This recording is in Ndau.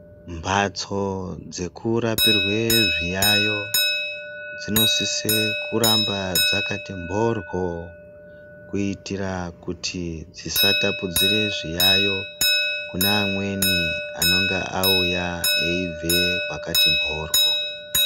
Mbatso dzekurapirwe zviyayiyo dzinosise kuramba dzakati mhoryo kuitira kuti dzisatapurire zviyayiyo kune amweni anonga auya eibve kwakati mhoryo .